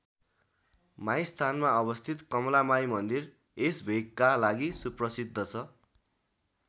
माईस्थानमा अवस्थित कमलामाई मन्दिर यस भेगका लागि सुप्रसिद्ध छ।